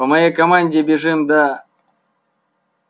по моей команде бежим да